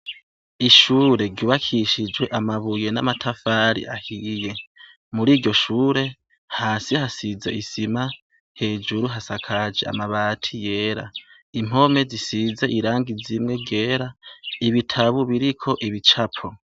ishure ry'ubakishijweamabuye n'amatafari ahiye muri iryoshure hasi hasize isima hejuru hasakaje amabati yera impome zisize irangi zimwe byera ibitabu biriko ibicapo.